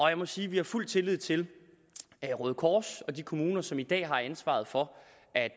jeg må sige at vi har fuld tillid til røde kors og de kommuner som i dag har ansvaret for